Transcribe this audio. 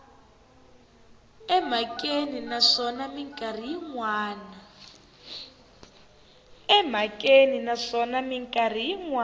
emhakeni naswona mikarhi yin wana